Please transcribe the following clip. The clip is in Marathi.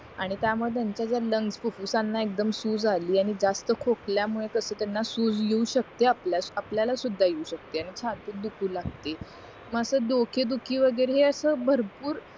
आणि त्या मुळे त्यांच्या ज्या लंग्स फुफुसानं एक्दम सूज अली आणि जास्त खोकल्या मुळे कसं त्यांना सूज येऊ शकते आपल्याला सुद्धा येऊ शकते आणि छातीत दुखू लागते मग असं डोके दुखी वगैरे हे असं भरपूर